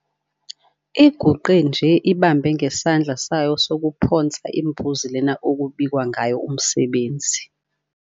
Iguqe nje ibambe ngesandla sayo sokuphonsa imbuzi lena okubikwa ngayo umsebenzi.